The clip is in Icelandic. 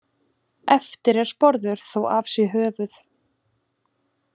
Eftir er sporður þó af sé höfuð.